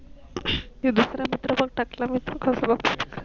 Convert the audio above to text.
ये दुसार मित्र टकला मित्र